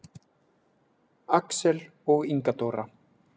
Axel og Inga Dóra.